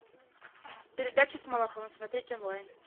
передача с малаховым смотреть онлайн